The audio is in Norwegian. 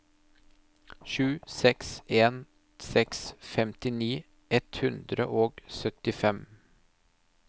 sju seks en seks femtini ett hundre og syttifem